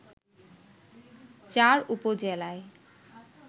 চার উপজেলায়